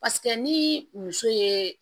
Paseke ni muso ye